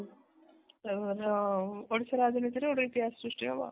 ଓଡିଶା ରାଜନୀତି ରେ ଗୋଟେ ଇତିହାସ ସୃଷ୍ଟି ହବ ଆଉ